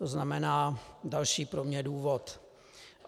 To znamená - další pro mě důvod.